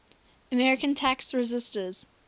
american tax resisters